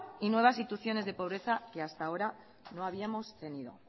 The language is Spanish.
y nuevas situaciones de pobreza que hasta ahora no habíamos tenido